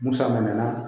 Musa man mɛn